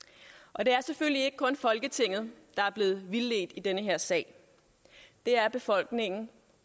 og det er selvfølgelig ikke kun folketinget der er blevet vildledt i den her sag det er befolkningen